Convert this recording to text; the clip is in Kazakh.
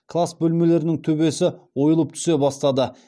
класс бөлмелерінің төбесі ойылып түсе бастады